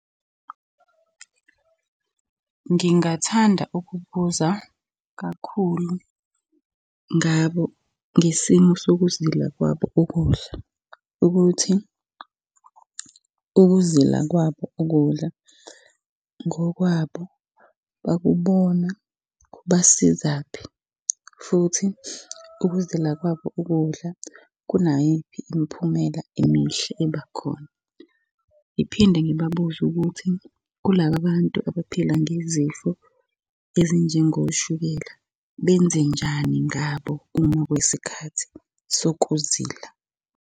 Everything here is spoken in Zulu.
Ngingathanda ukubuza kakhulu ngabo ngesimo sokuzila kwabo ukudla ukuthi, ukuzila kwabo ukudla ngokwabo bakubona kubasizaphi. Futhi ukuzila kwabo ukudla kunayiphi imiphumela emihle eba khona. Ngiphinde ngibabuze ukuthi kulaba bantu abaphila ngezifo ezinjengoshukela benze njani ngabo uma kuyisikhathi sokuzila.